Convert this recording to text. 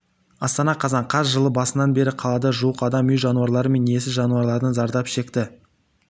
астана қазан қаз жыл басынан бері қалада жуық адам үй жануарлары мен иесіз жануарлардан зардап шекті